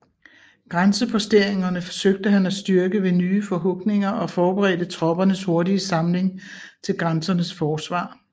Grænseposteringerne søgte han at styrke ved nye forhugninger og forberedte troppernes hurtige samling til grænsernes forsvar